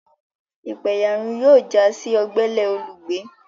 Ipaeyarun yóò já sí ogbele olùgbé